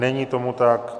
Není tomu tak.